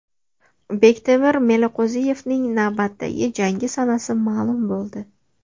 Bektemir Meliqo‘ziyevning navbatdagi jangi sanasi ma’lum bo‘ldi.